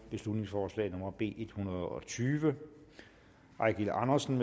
beslutningsforslag nummer b en hundrede og tyve eigil andersen